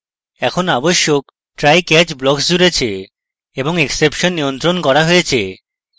এখন আবশ্যক trycatch blocks জুড়েছে এবং exception নিয়ন্ত্রণ করা হয়েছে